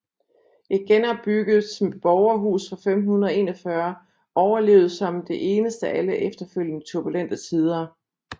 Et genopbygget borgerhus fra 1541 overlevede som det eneste alle efterfølgende turbulente tider